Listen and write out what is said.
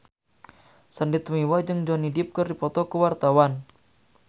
Sandy Tumiwa jeung Johnny Depp keur dipoto ku wartawan